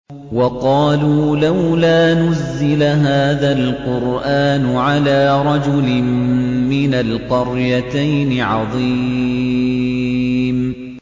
وَقَالُوا لَوْلَا نُزِّلَ هَٰذَا الْقُرْآنُ عَلَىٰ رَجُلٍ مِّنَ الْقَرْيَتَيْنِ عَظِيمٍ